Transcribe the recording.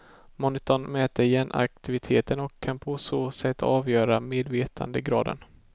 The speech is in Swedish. Monitorn mäter hjärnaktiviteten och kan på så sätt avgöra medvetandegraden.